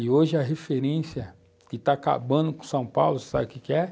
E hoje a referência que tá acabando com São Paulo, você sabe o que que é?